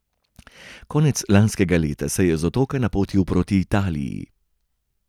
Konec lanskega leta se je z Otoka napotil proti Italiji.